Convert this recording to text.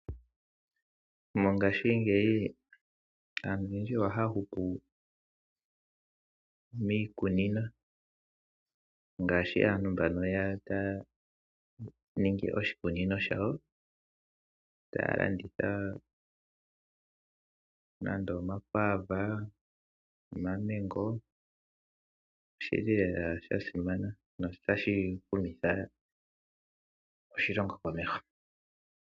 Mongaashingeyi aantu ohaya hupu miikunino ngaashi aantu mboka taya ningi oshikunino shawo taya landitha nande omakwaava, omamengo niikwawo yilwe. Oshili lela sha simana notashi humitha oshilongo komeho.